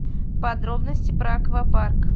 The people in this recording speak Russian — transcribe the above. подробности про аквапарк